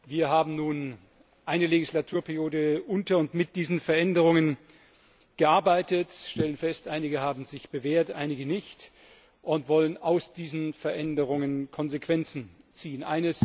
Wir haben nun eine Legislaturperiode unter und mit diesen Veränderungen gearbeitet und stellen fest, einige haben sich bewährt, einige nicht, und wollen aus diesen Veränderungen Konsequenzen ziehen.